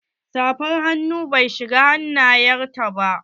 Safar hannu bai shiga hannayen ta ba.